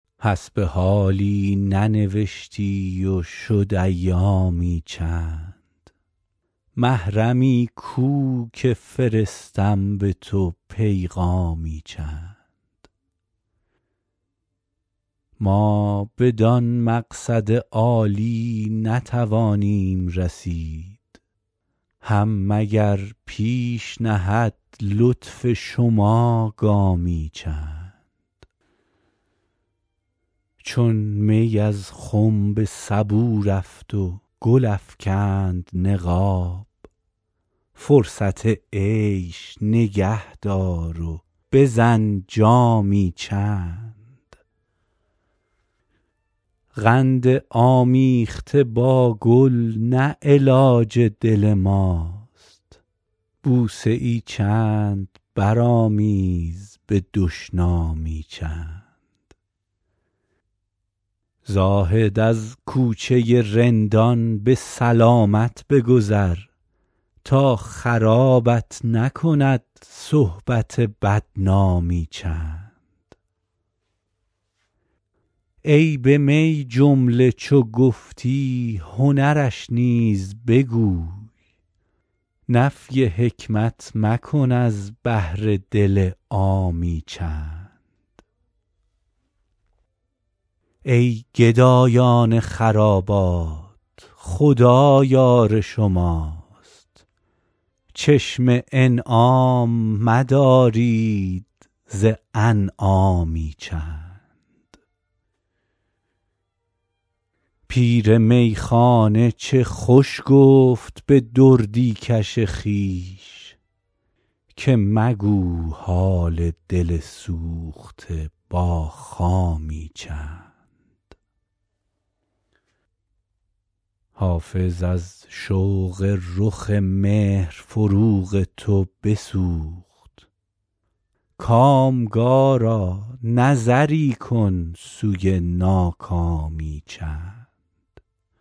حسب حالی ننوشتی و شد ایامی چند محرمی کو که فرستم به تو پیغامی چند ما بدان مقصد عالی نتوانیم رسید هم مگر پیش نهد لطف شما گامی چند چون می از خم به سبو رفت و گل افکند نقاب فرصت عیش نگه دار و بزن جامی چند قند آمیخته با گل نه علاج دل ماست بوسه ای چند برآمیز به دشنامی چند زاهد از کوچه رندان به سلامت بگذر تا خرابت نکند صحبت بدنامی چند عیب می جمله چو گفتی هنرش نیز بگو نفی حکمت مکن از بهر دل عامی چند ای گدایان خرابات خدا یار شماست چشم انعام مدارید ز انعامی چند پیر میخانه چه خوش گفت به دردی کش خویش که مگو حال دل سوخته با خامی چند حافظ از شوق رخ مهر فروغ تو بسوخت کامگارا نظری کن سوی ناکامی چند